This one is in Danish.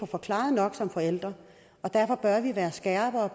forklaret nok for forældrene og derfor bør vi være skarpere